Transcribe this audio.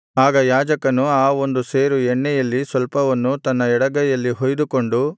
ಆಗ ಯಾಜಕನು ಆ ಒಂದು ಸೇರು ಎಣ್ಣೆಯಲ್ಲಿ ಸ್ವಲ್ಪವನ್ನು ತನ್ನ ಎಡಗೈಯಲ್ಲಿ ಹೊಯ್ದುಕೊಂಡು